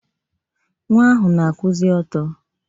Nwa ahụ na-akwụzị ọtọ.